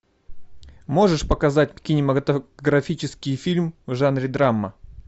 можешь показать кинематографический фильм в жанре драма